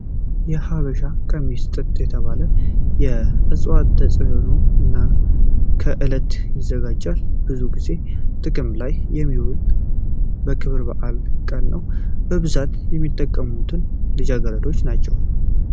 የሀበሻ ቀሚስ ጥጥ ከተባለ የዕፅዋት ተዋፅኦ እና ከጥለት ይዘጋጃል። ብዙ ጊዜ ጥቅም ላይ የሚውለው በክብረ በዓላት ቀን ነው። በብዛት የሚጠቀሙትም ልጃገረዶች ናቸው።